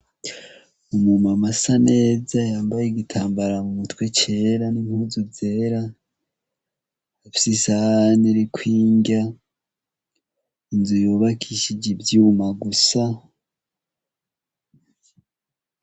umu Mama asa neza yambaye igitambara mu mutwe cera n'impuzu zera afise isahani iriko indya, inzu yubakishije ivyuma bisa.